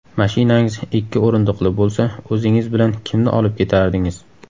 Mashinangiz ikki o‘rindiqli bo‘lsa, o‘zingiz bilan kimni olib ketardingiz?.